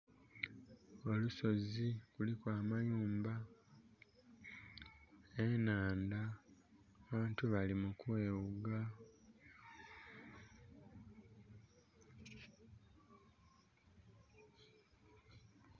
Olusozi luliku amayumba enaandha abantu bali mu kwewuga